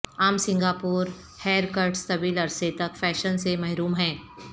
عام Singapore hair cuts طویل عرصے تک فیشن سے محروم ہیں